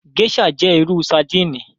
Gèṣà jẹ iru sardini